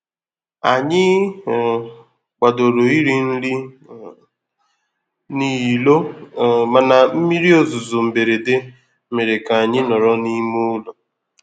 Ànyị um kwadoro iri nri um n'ilo um mana mmiri ozuzo mberede mere ka anyị nọrọ n’ime ụlọ